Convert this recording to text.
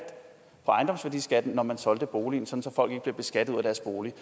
når man solgte boligen så folk ikke blev beskattet ud af deres bolig